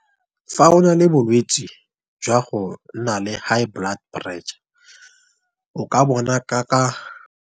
Fa o na le bolwetsi jwa gonna le high blood pressure o ka bona ka .